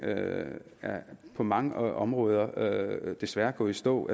på mange områder desværre er gået i stå